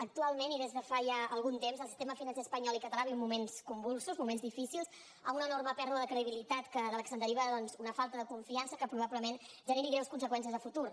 actualment i des de fa ja algun temps el sistema financer espanyol i català viuen moments convulsos moments difícils amb una enorme pèrdua de credibilitat de la qual se’n deriva doncs una falta de confiança que probablement generi greus conseqüències de futur